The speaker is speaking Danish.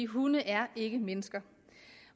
hunde er ikke mennesker